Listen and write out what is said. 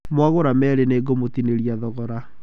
Mwagũra meerĩ nĩ ngũmũtinĩria thogora.